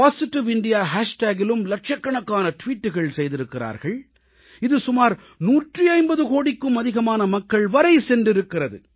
positive India hashtagஇலும் லட்சக்கணக்கான டுவீட்டுகள் செய்திருக்கிறார்கள் இது சுமார் 150 கோடிக்கும் அதிகமான மக்கள் வரை சென்றிருக்கிறது